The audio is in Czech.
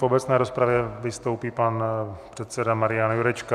V obecné rozpravě vystoupí pan předseda Marian Jurečka.